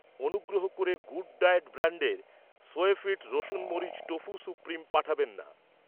অনুগ্রহ করে good diet ব্র্যান্ডের, সোয়ফিট রসুন মরিচ টফু সুপ্রিম পাঠাবেন না।